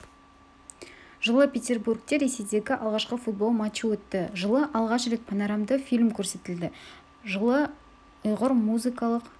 жылы петербургте ресейдегі алғашқы футбол матчы өтті жылы алғаш рет панорамды фильм көрсетілді жылы ұйғыр музыкалық